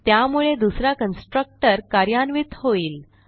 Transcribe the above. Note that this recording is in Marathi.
त्यामुळे दुसरा कन्स्ट्रक्टर कार्यान्वित होईल